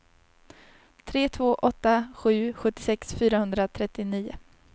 tre två åtta sju sjuttiosex fyrahundratrettionio